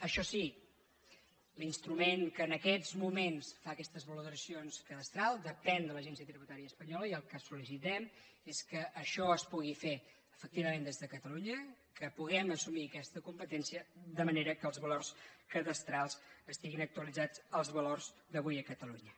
això sí l’instrument que en aquests moments fa aquestes valoracions cadastrals depèn de l’agència tributària espanyola i el que sol·licitem és que això es pugui fer efectivament des de catalu·nya que puguem assumir aquesta competència de manera que els valors cadastrals estiguin actualitzats als valors d’avui a catalunya